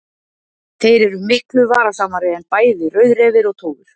Þeir eru miklu varasamari en bæði rauðrefir og tófur.